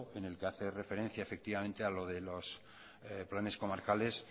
en que hacer referencia efectivamente a lo de los planes comarcales